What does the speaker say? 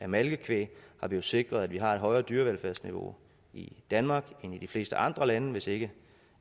malkekvæg har vi jo sikret at vi har et højere dyre velfærdsniveau i danmark end i de fleste andre lande hvis ikke